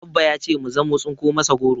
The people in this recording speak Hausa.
Abba ya ce mu zamu tsinko masa goro